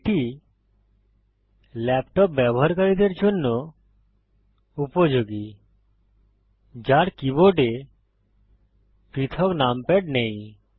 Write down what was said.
এটি ল্যাপটপ ব্যবহারকারীদের জন্য উপযোগী যার কীবোর্ডে পৃথক নামপ্যাড নেই